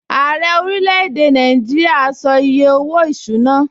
Ààrẹ orílẹ̀-èdè a sọ iye owó-ìṣúná